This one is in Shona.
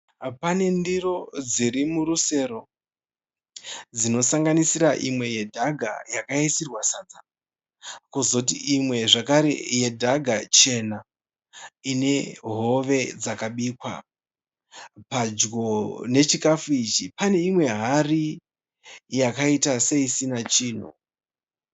Pane ndiro dzirimurusero dzinosakanisira imwe yadhaga yakaisirwa sadza. Kuzoti imwe zvekare yedhaga chena ine hove dzakabikwa. Padyo nechikafu ichi pane imwe hari yakaita seisina chinhu.